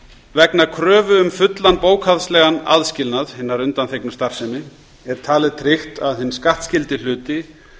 vegna kröfu um fullan bókhaldslegan aðskilnað hinnar undanþegnu starfsemi er talið tryggt að hinn skattskyldi hluti